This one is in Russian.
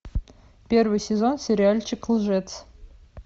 первый сезон сериальчик лжец